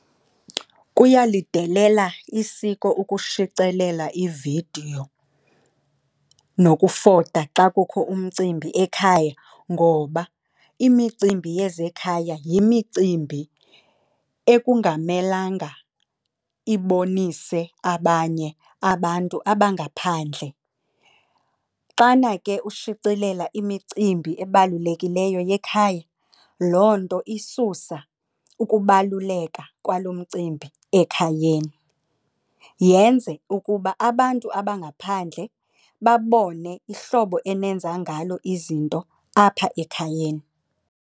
Kuyalidelela isiko ukushicilela ividiyo nokufota xa kukho umcimbi ekhaya ngoba imicimbi yezekhaya yimicimbi ekungamelanga ibonise abanye abantu abangaphandle. Xana ke ushicilela imicimbi ebalulekileyo yekhaya loo nto isusa ukubaluleka kwalo mcimbi ekhayeni, yenze ukuba abantu abangaphandle babone ihlobo enenza ngalo izinto apha ekhayeni.